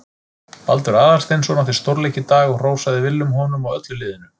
Baldur Aðalsteinsson átti stórleik í dag og hrósaði Willum honum og öllu liðinu.